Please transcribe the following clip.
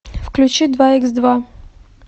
включи два икс два